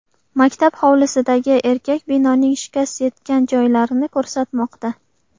Maktab hovlisidagi erkak binoning shikast yetgan joylarini ko‘rsatmoqda.